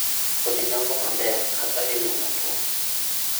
Kodhi dongo maber kata mana e lowo motwo